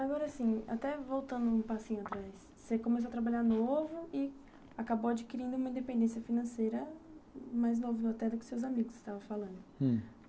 Agora assim, até voltando um passinho atrás, você começou a trabalhar novo e acabou adquirindo uma independência financeira mais nova, até, do que os seus amigos estavam falando.